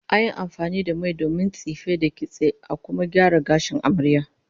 An yi amfani da mai domin tsife, da kitse, da kuma gyara gashin amaryar